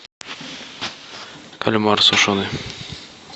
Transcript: кальмар сушеный